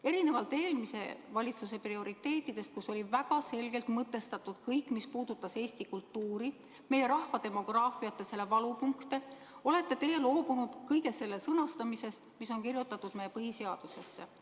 " Erinevalt eelmise valitsuse prioriteetidest, kus oli väga selgelt mõtestatud kõik, mis puudutas eesti kultuuri, meie rahva demograafiat ja selle valupunkte, olete teie loobunud kõige selle sõnastamisest, mis on kirjutatud meie põhiseadusesse.